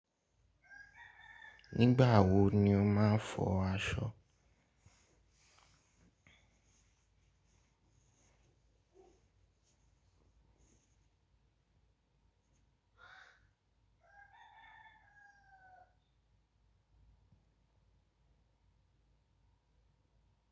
Nígbà wo ni o máa ń fọ aṣọ?